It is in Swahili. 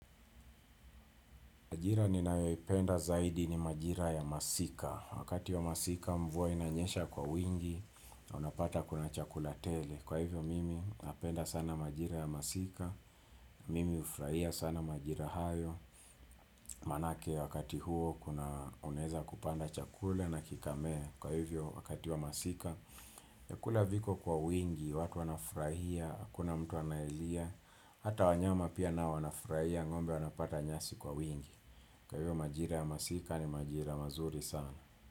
Majira ninayoipenda zaidi ni majira ya masika. Wakati ya masika mvua inanyesha kwa wingi, unapata kuna chakula tele. Kwa hivyo mimi napenda sana majira ya masika. Mimi hufraia sana majira hayo. Maanake wakati huo kuna, unaeza kupanda chakula na kikamea. Kwa hivyo wakati wa masika. Vyakula viko kwa wingi, watu wanafurahia, hakuna mtu analia. Hata wanyama pia nao wanafurahia, ng'ombe wanapata nyasi kwa wingi. Kwa hivyo majira ya masika ni majira mazuri sana.